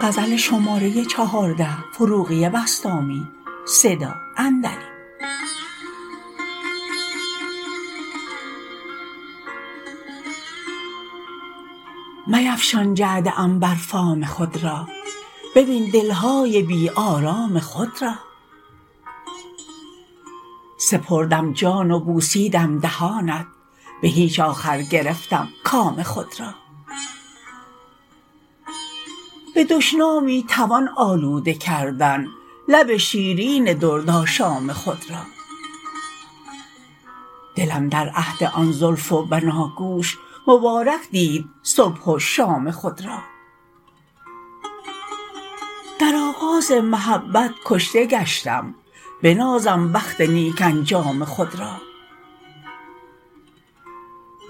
میفشان جعد عنبر فام خود را ببین دلهای بی آرام خود را سپردم جان و بوسیدم دهانت به هیچ آخر گرفتم کام خود را به دشنامی توان آلوده کردن لب شیرین درد آشام خود را دلم در عهد آن زلف و بناگوش مبارک دید صبح و شام خود را در آغاز محبت کشته گشتم بنازم بخت نیک انجام خود را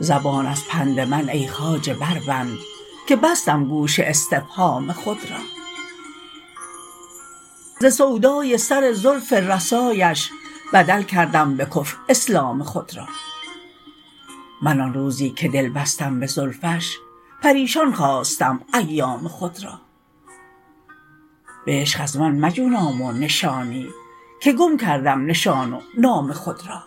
زبان از پند من ای خواجه بر بند که بستم گوش استفهام خود را ز سودای سر زلف رسایش بدل کردم به کفر اسلام خود را من آن روزی که دل بستم به زلفش پریشان خواستم ایام خود را به عشق از من مجو نام و نشانی که گم کردم نشان و نام خود را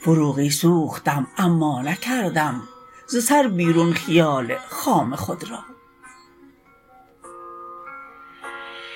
فروغی سوختم اما نکردم ز سر بیرون خیال خام خود را